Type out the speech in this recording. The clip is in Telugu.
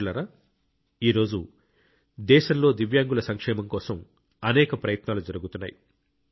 మిత్రులారా ఈ రోజు దేశంలో దివ్యాంగుల సంక్షేమం కోసం అనేక ప్రయత్నాలు జరుగుతున్నాయి